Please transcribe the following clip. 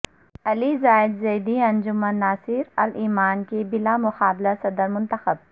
علی زائر زیدی انجمن ناصرالایمان کے بلا مقابلہ صدر منتخب